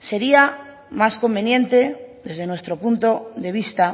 sería más conveniente desde nuestro punto de vista